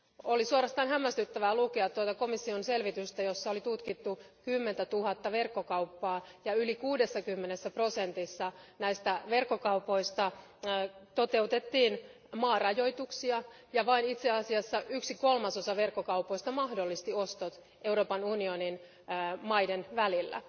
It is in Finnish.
Oli suorastaan hämmästyttävää lukea tuota komission selvitystä, jossa oli tutkittu kymmentätuhatta verkkokauppaa, ja yli kuudessakymmenessä prosentissa näistä verkkokaupoista toteutettiin maarajoituksia ja itse asiassa vain yksi kolmasosa verkkokaupoista mahdollisti ostot Euroopan unionin valtioiden välillä.